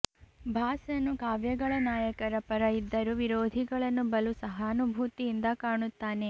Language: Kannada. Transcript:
ಭಾಸನು ಕಾವ್ಯಗಳ ನಾಯಕರ ಪರ ಇದ್ದರೂ ವಿರೋಧಿಗಳನ್ನು ಬಲು ಸಹಾನುಭೂತಿಯಿಂದ ಕಾಣುತ್ತಾನೆ